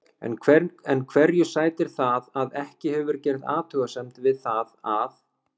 En hverju sætir það að ekki hefur verið gerð athugasemd við það að